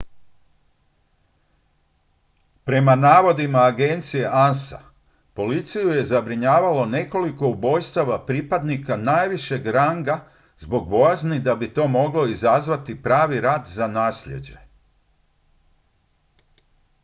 prema navodima agencije ansa policiju je zabrinjavalo nekoliko ubojstava pripadnika najvišeg ranga zbog bojazni da bi to moglo izazvati pravi rat za naslijeđe